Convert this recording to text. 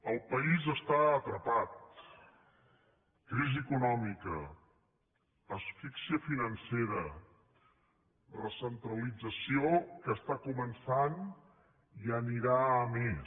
el país està atrapat crisi econòmica asfíxia financera recentralització que està començant i anirà a més